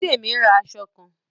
Bidemi n rà aṣọ kàn.